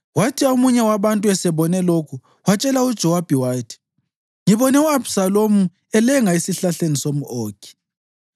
Kwathi omunye wabantu esebone lokhu, watshela uJowabi wathi, “Ngibone u-Abhisalomu elenga esihlahleni somʼOkhi.”